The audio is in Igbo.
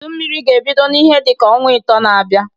Udu Mmiri ga-ebido n'ihe dị ka ọnwa ịtọọ na-abịa.